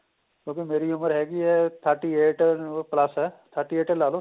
ਕਿਉਂਕਿ ਮੇਰੀ ਉਮਰ ਹੈਗੀ ਏ thirty eight ਨੂੰ plus ਏ thirty eight ਈ ਲਾ ਲੋ